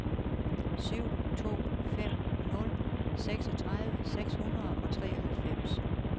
syv to fem nul seksogtredive seks hundrede og treoghalvfems